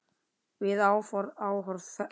Við áhorf bregst hann við.